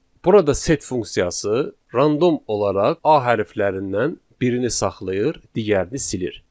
Burada set funksiyası random olaraq a hərflərindən birini saxlayır, digərini silir.